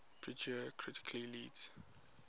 purdue currently leads